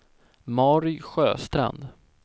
Mary Sjöstrand